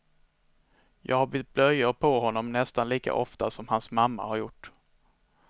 Jag har bytt blöjor på honom nästan lika ofta som hans mamma har gjort.